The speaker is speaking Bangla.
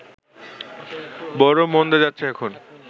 বড়ো মন্দা যাচ্ছে এখন